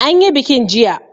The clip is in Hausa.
An yi bikin jiya.